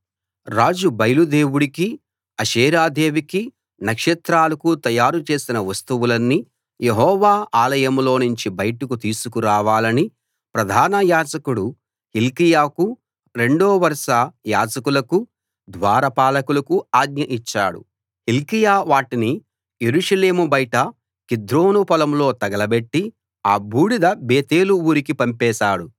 రాజు బయలు దేవుడికీ అషేరా దేవికీ నక్షత్రాలకూ తయారు చేసిన వస్తువులన్నీ యెహోవా ఆలయంలోనుంచి బయటకు తీసుకు రావాలని ప్రధానయాజకుడు హిల్కీయాకు రెండో వరుస యాజకులకు ద్వారపాలకులకు ఆజ్ఞ ఇచ్చాడు హిల్కీయా వాటిని యెరూషలేము బయట కిద్రోను పొలంలో తగలబెట్టి ఆ బూడిద బేతేలు ఊరికి పంపేశాడు